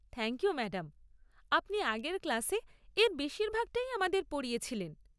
Thank you madam, আপনি আগের ক্লাসে এর বেশিরভাগ টাই আমাদের পড়িয়েছিলেন।